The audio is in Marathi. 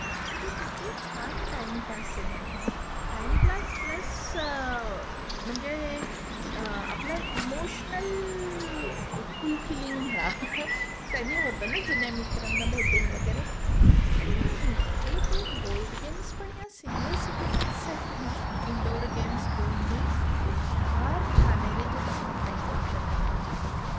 म्हणजे किती छान टाईम पास आहे ना हा. टाईम पास प्लस म्हणजे आपल इमोशनल फुलफीलींग म्हणा. त्यानी होतं ना जुन्या मित्रांना भेटून वगैरे. आणि अरे ते बोर्ड गेम्स पण या सिनिअर सिटिझन्ससाठी ना, इनडोअर गेम्स, बोर्ड गेम्स हे फार छान आहे जे बाहेर नाही जाऊ शकत त्यांच्यासाठी.